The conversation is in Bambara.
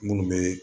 Munnu be